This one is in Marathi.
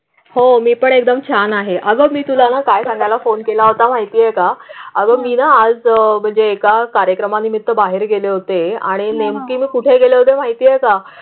होमी पण एकदम छान आहे. अगं मी तुला काय कांद्याला फोन केला होता माहिती आहे का? अगं मी ना. आज म्हणजे एका कार्यक्रमानिमित्त बाहेर गेले होते आणि नेमकी कुठे आहे माहिती आहे का?